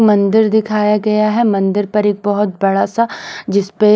मंदिर दिखाया गया है मंदिर पर एक बहुत बड़ा सा जिस पे।